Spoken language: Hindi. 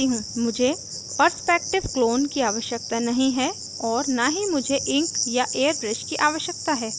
मुझे perspective clone की आवश्यकता नहीं है और न ही मुझे ink या airbrush की आवश्यकता है